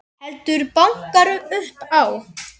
Heldur bankar upp á.